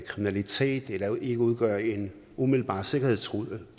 kriminalitet eller ikke udgør en umiddelbar sikkerhedstrussel